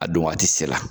A don waati se la